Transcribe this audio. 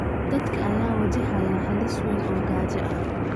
Dadka ayaa wajahaya halis weyn oo gaajo ah.